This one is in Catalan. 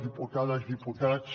diputades diputats